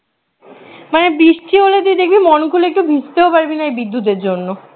হ্যাঁ বৃষ্টি হলে তুই দেখবি মন খুলে একটু ভিজতেও পারবি না বিদ্যুতের জন্য